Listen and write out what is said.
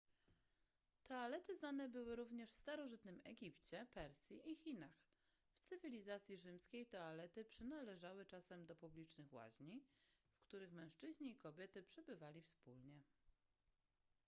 toalety znane były również w starożytnym egipcie persji i chinach w cywilizacji rzymskiej toalety przynależały czasem do publicznych łaźni w których mężczyźni i kobiety przebywali wspólnie